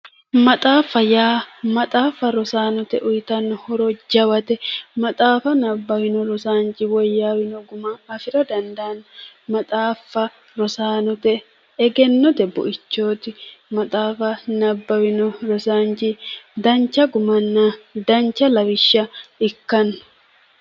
Maxaaffa yaa maxaaffa rosaanote uyiitanno horo jawate maxaafa nabbawino rosaanchi woyyaawino guma afira dandaanno maxaaffa rosaanote egennote buichooti maxaafa nabbawino rosaachi dancha gimanna dancha lawishsha ikkanno